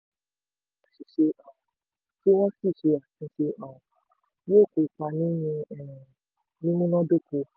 tí ìgbìmọ̀ bá mọ àṣìṣe um tí wọ́n sì ṣe àtúnṣe um yóò kópa nínú um mímúnádóko.